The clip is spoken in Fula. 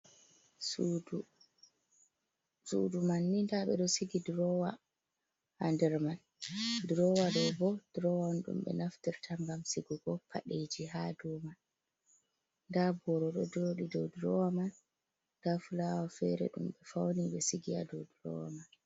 Sudu man ni nɗaɓe ɗo sigi drowa ha nder man, drowa ɗo bo drowaan ɗum be naftirta ngam sigugo padeji ha dow man, nda boro ɗo joɗi dow drowa man, nda fulawa fere ɗumɓe fauni be sigi ha dow drowa man.